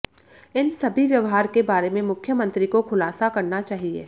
इन सभी व्यवहार के बारे में मुख्यमंत्री को खुलासा करना चाहिए